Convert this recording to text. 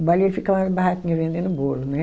Lá e ele ficava na barraca vendendo bolo, né?